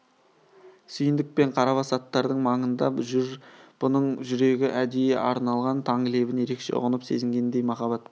сүйіндік пен қарабас аттардың маңында жүр бұның жүрегі әдейі арналған таң лебін ерекше ұғынып сезінгендей махаббат